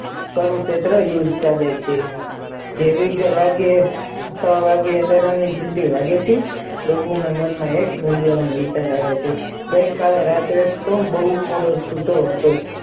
તારું ક્ષત્રે યુદ્ધ ચાલે છે કેવા ભાગ્યે છ વાગે આલારામ ની ઘંટી વાગે છે તેના મન આ નથ નવા વિચાર આવે છે ગઈ કાલે રાત્રે હું બોવ મોડો સૂતો હતો.